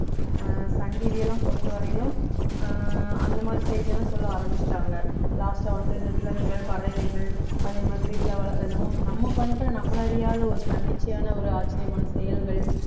அஹ் Sun TV லாம் பொறுத்தவரையிலும் அஹ் அந்த மாதிரி செய்திலாம் சொல்ல ஆரம்பிச்சுட்டாங்க last ஆ வந்து இந்த விலங்குகள் பறவைகள் அதே மாதிரி வீட்ல வள~ நம்ம பண்ற நம்மள அறியாத ஒரு தன்னிச்சையான ஒரு ஆச்சரியமான செயல்கள்